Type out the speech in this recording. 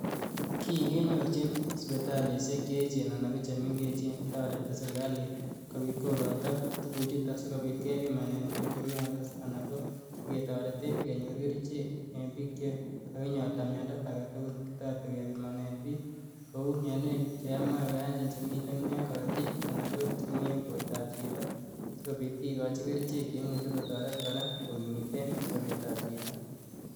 kii kenyorchin sipitalisiek che echen anan ko chemengech. Taareti serikaliit kopiit kokaito tuguuchutok si kopiit kepimane piik chemiandos anan ko ketarete kenyor kercheek eng' piik che ka kinyorta miando age tugul kotareti kepimanen piik kou mianwek che mache koyaachen chemiten en karatiik anan ko chemi en porto ap chito sikopiit kikochi kerchek che imuchi kotaret kora kokimiti sapeet ap chito